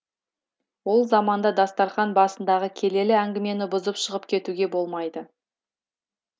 ол заманда дастарқан басындағы келелі әңгімені бұзып шығып кетуге болмайды